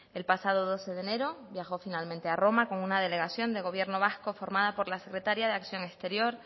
el pasado doce de enero viajó finalmente a roma con una delegación del gobierno vasco formada por la secretaria de acción exterior